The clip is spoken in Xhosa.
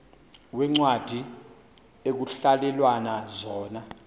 veencwadi ekuhhalelwana zona